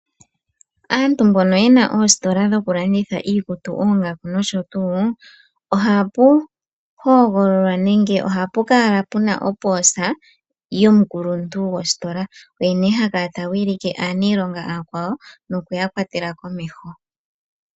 Aantu mbono yena oositola dhoku landitha iikutu, oongaku noshotu, ohapu hogololwa nenge ohapu kala pena opoosa yomukuluntu gwositola, oye ne ha kala ta wilike aanilonga aakwawo nokuya kwatela komeho.